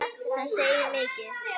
Það segir mikið.